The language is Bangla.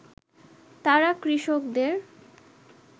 তারা কৃষকদের